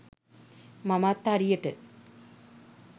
මමත් හරියට